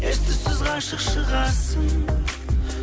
ес түссіз ғашық шығарсың